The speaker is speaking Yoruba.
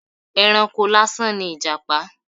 Ẹranko lásán ni Ìjàpá.